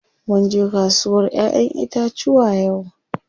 Munje kasuwar ƴaƴen itacuwa yau.